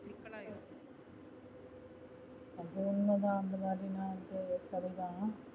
அது உண்ம அந்தமாதிரினா வந்து சரி தா